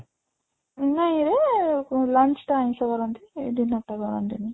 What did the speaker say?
ନାଇଁ ରେ launch ରେ ଆଇଁଷ କରନ୍ତି ଏଇ ଦିନ ଟା କରନ୍ତିନି